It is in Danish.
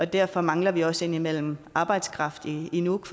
derfor mangler vi også indimellem arbejdskraft i i nuuk